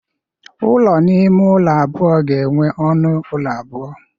Ụlọ ime ụlọ abụọ ga-enwe ọnụ ụlọ abụọ.